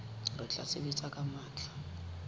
re tla sebetsa ka matla